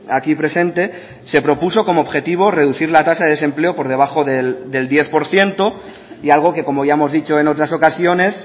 aquí presente se propuso como objetivo reducir la tasa de desempleo por debajo del diez por ciento y algo que como ya hemos dicho en otras ocasiones